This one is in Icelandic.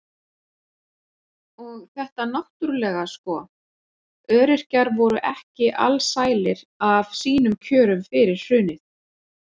Og þetta náttúrulega sko, öryrkjar voru ekki alsælir af sínum kjörum fyrir hrunið.